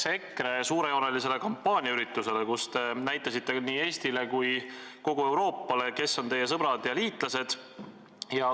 Eile olime EKRE suurejoonelise kampaaniaürituse tunnistajaks, kus te näitasite nii Eestile kui ka kogu Euroopale, kes on teie sõbrad ja liitlased.